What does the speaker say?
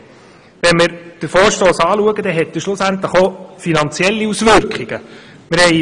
Betrachten wir den Vorstoss, so sehen wir, dass er schlussendlich auch finanzielle Auswirkungen hat.